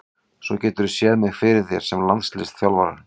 Svo geturðu séð mig fyrir þér sem landsliðsþjálfara?